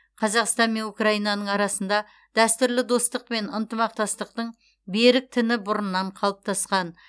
қазақстан мен украинаның арасында дәстүрлі достық пен ынтымақтастықтың берік тіні бұрыннан қалыптасқан